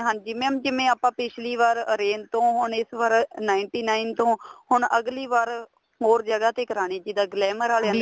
ਹਾਂਜੀ mam ਜਿਵੇਂ ਆਪਾਂ ਪਿੱਛਲੀ ਵਾਰ orange ਤੋਂ ਹੁਣ ਇਸ ਵਾਰ ninety nine ਤੋਂ ਹੁਣ ਅਗਲੀ ਵਾਰ ਹੋਰ ਜਗ੍ਹਾ ਤੇ ਕਰਾਨੀ ਹੈ ਜਿੱਦਾਂ glamour ਆਲਿਆਂ ਤੇ